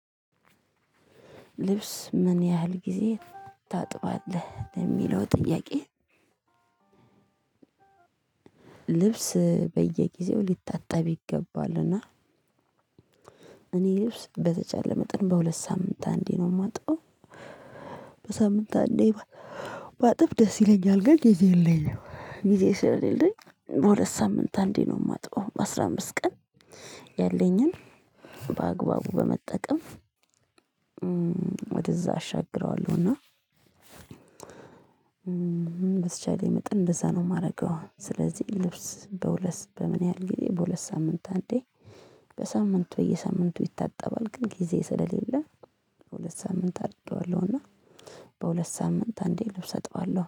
ልብስ ምን ያህል ጊዜ ታጥባለህ ለሚለው ጥያቄህ? ልብስ በየጊዜው ሊታጠብ ይገባልና እኔ ልብስ በተቻለ መጠን በሁለት ሳምንት አንዴ ነው የማጥበው። በሳምንት አንዴ። በአጥብ ደስ ይለኛል ግን ጊዜ የለኝም። ጊዜ ስለሌለኝ በሁለት ሳምንት አንዴ ነው የማጥበው በአስራ አምስት ቀን ያለኝን በአግባቡ በመጠቀም ወደዛ አሻግረዋለሁ። እና በተቻለኝ መጠን እንደዛ ነው የማደርገው። ስለዚህ ልብስ በሁለት በምን ያህል ጊዜ በሁለት ሳምንት አንዴ በሳምንት በየሳምንቱ ይታጠባል። ግን ጊዜ ስለሌለ በሁለት ሳምንት አርድርጌዋለሁ እና በሁለት ሳምንት አንዴ ልብስ አጥባለሁ